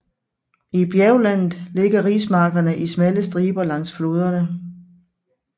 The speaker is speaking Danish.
I bjerglandet ligger rismarkerne i smalle striber langs floderne